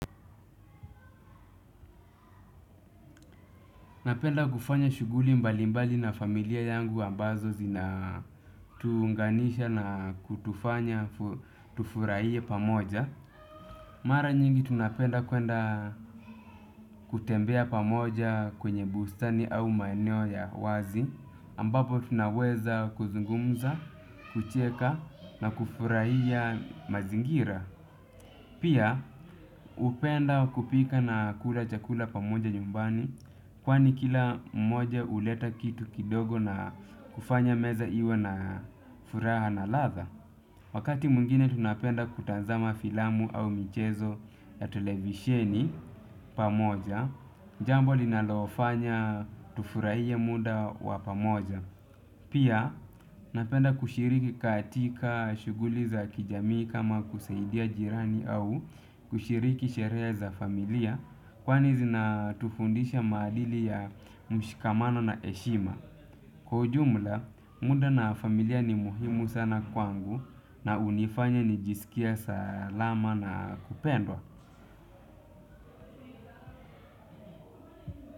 Napenda kufanya shughuli mbali mbali na familia yangu ambazo zina tuunganisha na kutufanya, tufurahie pamoja. Mara nyingi tunapenda kwenda kutembea pamoja kwenye bustani au maeneo ya wazi. Ambapo tunaweza kuzungumza, kucheka na kufurahia mazingira. Pia upenda kupika na kula chakula pamoja nyumbani kwani kila mmoja uleta kitu kidogo na kufanya meza iwe na furaha na ladha. Wakati mwingine tunapenda kutazama filamu au michezo ya televisheni pamoja, jambo li nalofanya tufurahie muda wa pamoja. Pia napenda kushiriki katika shughuli za kijamii kama kusaidia jirani au kushiriki sherehe za familia kwani zinatufundisha maadili ya mshikamano na heshima. Kwa ujumla, muda na familia ni muhimu sana kwangu na unifanya nijisikie salama na kupendwa.